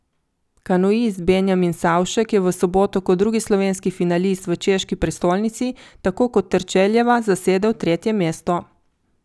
Kanuist Benjamin Savšek je v soboto kot drugi slovenski finalist v češki prestolnici tako kot Terčeljeva zasedel tretje mesto.